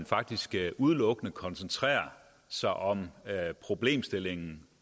faktisk udelukkende koncentrerer sig om den problemstilling